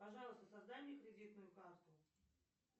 пожалуйста создай мне кредитную карту